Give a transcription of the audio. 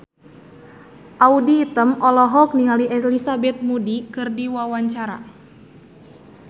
Audy Item olohok ningali Elizabeth Moody keur diwawancara